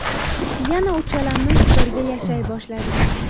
Yana uchalamiz birga yashay boshladik.